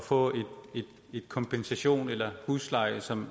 få en kompensation eller husleje som